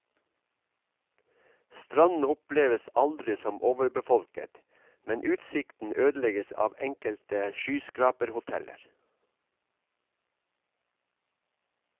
Stranden oppleves aldri som overbefolket, men utsikten ødelegges av enkelte skyskraperhoteller.